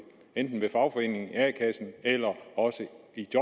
enten i fagforeningen a kassen eller også